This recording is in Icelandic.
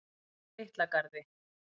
Litla Garði